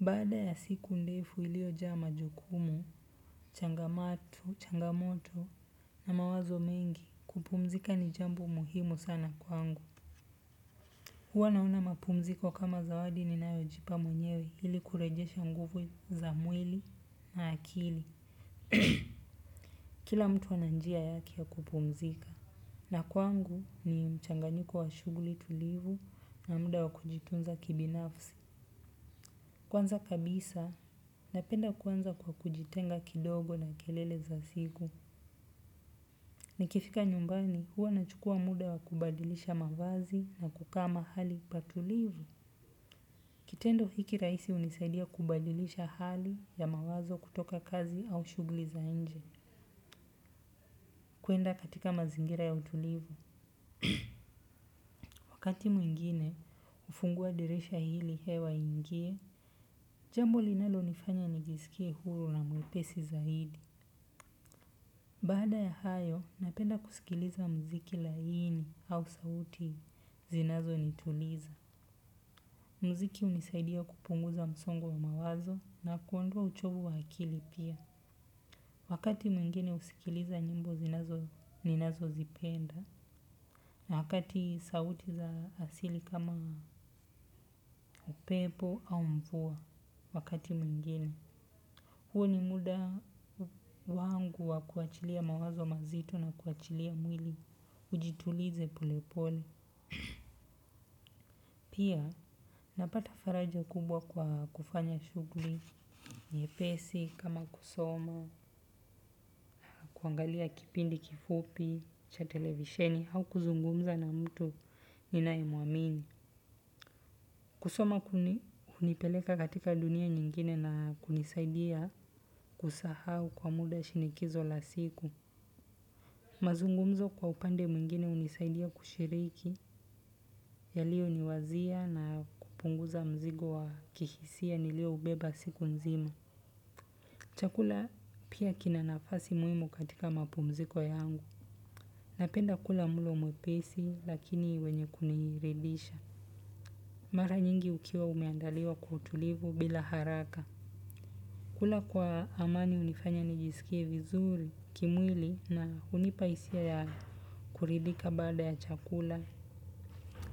Baada ya siku ndefu iliyojaa majukumu, changamoto, changamoto na mawazo mengi kupumzika ni jambo muhimu sana kwangu. Huwa naona mapumziko kama zawadi ninayojipa mwenyewe ili kurejesha nguvu za mwili na akili. Kila mtu ana njia yake ya kupumzika na kwangu ni mchanganyiko wa shughuli tulivu na muda wa kujitunza kibinafsi. Kwanza kabisa, napenda kuanza kwa kujitenga kidogo na kelele za siku. Nikifika nyumbani huwa nachukua muda wa kubadilisha mavazi na kukaa mahali patulivu. Kitendo hiki rahisi hunisaidia kubadilisha hali ya mawazo kutoka kazi au shughuli za nje, kuenda katika mazingira ya utulivu. Wakati mwingine, hufungua dirisha ili hewa iingie, jambo linalonifanya nijisikie huru na mwepesi zaidi. Baada ya hayo, napenda kusikiliza mziki laini au sauti zinazonituliza. Mziki hunisaidia kupunguza msongo wa mawazo na kuondoa uchovu wa akili pia. Wakati mwingine husikiliza nyimbo ninazozipenda. Wakati sauti za asili kama upepo au mvua wakati mwingine. Huu ni muda wangu wa kuachilia mawazo mazito na kuachilia mwili. Ujitulize polepole. Pia napata faraja kubwa kwa kufanya shughuli. Nyepesi, kama kusoma, kuangalia kipindi kifupi, cha televisheni, au kuzungumza na mtu ninayemuamini. Kusoma hunipeleka katika dunia nyingine na kunisaida kusahau kwa muda shinikizo la siku. Mazungumzo kwa upande mwingine hunisaidia kushiriki yalioniwazia na kupunguza mzigo wa kihisia nilioubeba siku nzima. Chakula pia kina nafasi muhimu katika mapumziko yangu. Napenda kula mlo mwepesi lakini wenye kuniridisha. Mara nyingi ukiwa umeandaliwa kwa utulivu bila haraka. Kula kwa amani hunifanya nijisikie vizuri kimwili na hunipa hisia ya kuridhika baada ya chakula,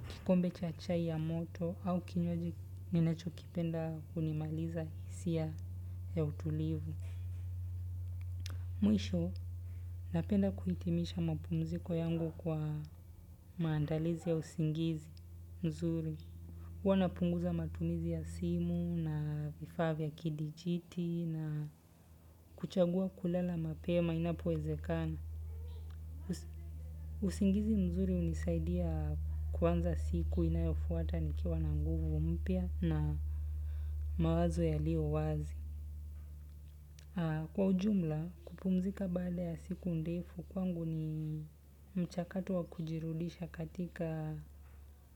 kikombe cha chai ya moto au kinywaji ninachokipenda hunimaliza hisia ya utulivu. Mwisho, napenda kuhitimisha mapumziko yangu kwa maandalizi ya usingizi mzuri. Huwa napunguza matumizi ya simu na vifaa vya kidijiti na kuchagua kulala mapema inapowezekana. Usingizi mzuri hunisaidia kuanza siku inayofuata nikiwa na nguvu mpya na mawazo yalio wazi. Kwa ujumla kupumzika badaa ya siku ndefu kwangu ni mchakato wa kujirudisha katika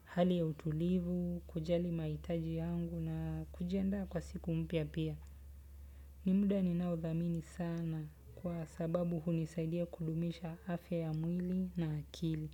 hali ya utulivu, kujali mahitaji yangu na kujiandaa kwa siku mpya pia. Ni muda ninaodhamini sana kwa sababu hunisaidia kudumisha afya ya mwili na akili.